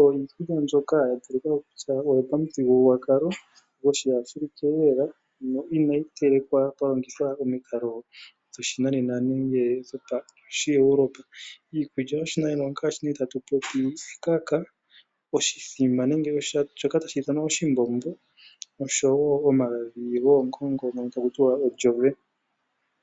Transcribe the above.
oyo iikulya mbyoka ya talika ko kutya oyopamuthigululwakalo gOshiafrika no inayi telekwa kwa longithwa omikalo dhoshinanena nenge dhOshieuropa. Iikulya yOshiwambo ongaashi tatu popi ekaka, oshithima nenge shoka tashi ithanwa oshimbombo noshowo omagadhi goongongo.